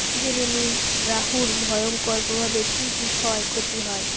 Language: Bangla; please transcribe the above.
জেনে নিন রাহুর ভয়ঙ্কর প্রভাবে কী কী ক্ষয় ক্ষতি হয়